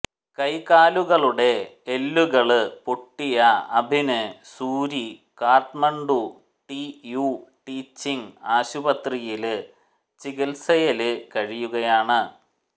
കൈ കാലുകളുടെ എല്ലുകള് പൊട്ടിയ Abhin Suri Kathmandu T U teaching ആശുപത്രിയില് ചികിത്സയില് കഴിയുകയാണ്